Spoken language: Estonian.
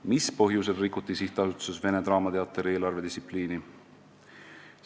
"Mis põhjustel rikuti SA-s Vene Draamateater eelarvedistsipliini?